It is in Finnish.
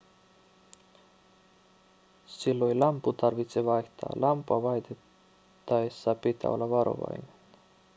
silloin lamppu tarvitsee vaihtaa lamppua vaihdettaessa pitää olla varovainen